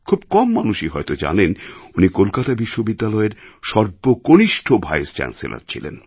খুব কম মানুষই হয়তো জানেন উনি কলকাতা বিশ্ববিদ্যালয়ের সর্বকনিষ্ঠ ভাইসচ্যান্সেলর ছিলেন